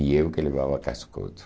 E eu que levava cascudo.